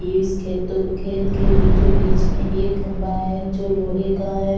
ये इस खेतों खेत के बीचो-बीच में एक खम्भा है जो लोहे का है।